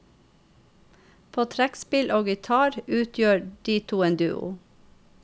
På trekkspill og gitar utgjør de to en duo.